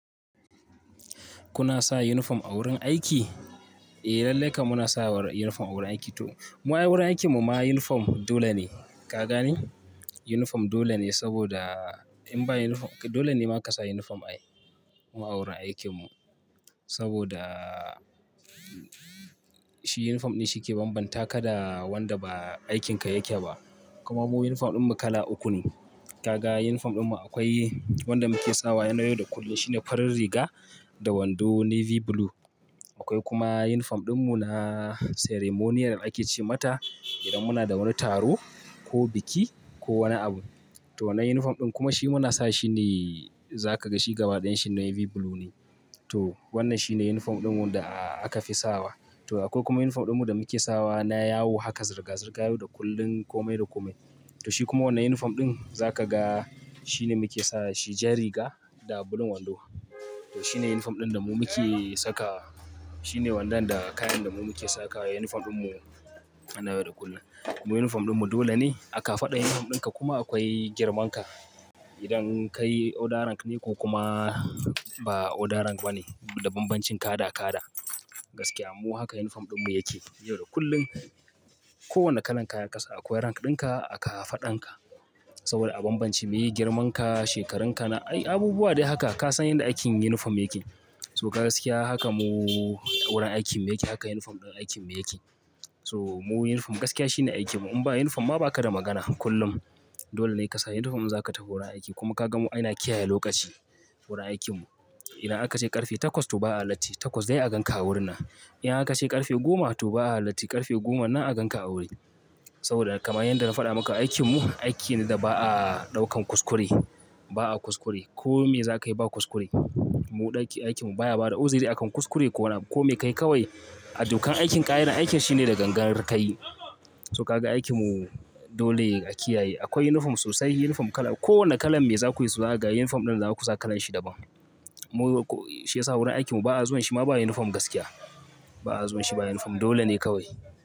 Kuna sa uniform a wurin aiki? Eh lallai kam muna saka uniform a wurin aiki to. Mu ai wurin aikin mu ma uniform dole ne. Ka gane? Uniform dole ne saboda in ba uniform dole ne ma ka sa uniform ai wurin aikin mu. Saboda shi uniform ne shi ke bambanta ka da wanda ba aikinka yake ba. Kuma mu uniform ɗin mu kala uku ne. Ka ga uniform ɗin mu akwai wanda muke sawa yana yau da kullum shi ne farin riga da wando navy blue. Akwai kuma uniform ɗin mu na ceremonial ake ce mata idan muna da wani taro ko biki ko wani abu. To wannan uniform ɗin kuma shi muna sa shi ne za ka ga shi gabaɗayan shi navy blue ne. To wannan shi ne uniform ɗin mu da aka fi sawa. To akwai kuma uniform ɗin mu da muke sawa na yawo haka zirga-zirga yau da kullum komai da komai. To shi kuma wannan uniform ɗin za ka ga shi ne muke sa shi jar riga da bulin wando. To shi ne uniform ɗin da mu muke saka. Shi ne wannan da kayan da mu muke saka uniform ɗin mu yana yau da kullum. Mu uniform ɗin mu dole ne a kafaɗan uniform ɗinka kuma akwai girman ka. Idan kai order rank ne ko kuma ba order rank ba ne da bambancin kada-kada. Gaskiya mu haka uniform ɗin mu yake yau da kullum. Ko wane kalan kaya kasa akwai rank ɗinka a kafaɗanka. Saboda a bambance me girman ka, shekaran ka na. Ai abubuwa dai haka ka san yanda aikin uniform yake. To gaskiya haka mu wurin aikin mu yake haka uniform ɗin aikin mu yake. To mu uniform gaskiya shi ne aikin mu in ba uniform ma ba ka da magana kullum. Dole ne kasa uniform za ka tafi wurin aiki kuma ka ga mu ana kiyaye lokaci wurin aikin mu. Idan aka ce ƙarfe takwas to ba a latti takwas dai a gan ka a wurin nan. In aka ce ƙarfe goma to ba a halatti ƙarfe goma nan a gan ka a wuri. Saboda kamar yanda na faɗa maka aikin mu aiki ne da ba a ɗaukan kuskure. Ba a kuskure kome za ka yi ba kuskure. Mu ɗakin aikin mu baya bada uzuri akan kuskure ko wani abu kome ka yi kawai. A dokan aikin ƙa'idan aikin shine da gangan ka yi. To ka ga aikin mu dole a kiyaye. Akwai uniform sosai uniform kala. Ko wane kalan me za ku yi so za a ga uniform ɗin za ku sa kalan shi daban. Mu ko shi ya sa wurin aikin mu ba a zuwan shi ma ba uniform gaskiya. Ba a zuwan shi ba uniform dole ne kawai.